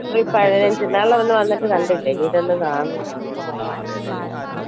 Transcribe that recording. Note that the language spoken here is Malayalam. ഏപ്രിൽ പതിനഞ്ച്‌ ഇതാണല്ലോ അന്ന് വന്നിട്ട് കണ്ടില്ല ഇനിയിതൊന്ന് കാണണം